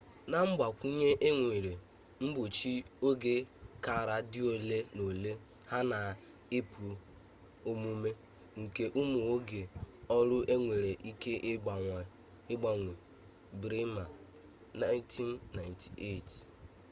na mgbakwunye e nwere mgbochi oge kara dị ole na ole ya na ịpụ omume nke ụmụ oge ọrụ enwere ike ịgbanwe. bremer 1998